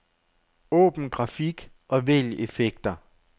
Åbn grafik og vælg effekter.